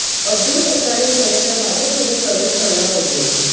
अब्दुल सत्तार हे खरंतर भाजपमध्ये प्रवेश करणार होते